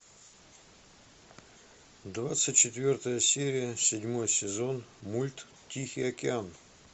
двадцать четвертая серия седьмой сезон мульт тихий океан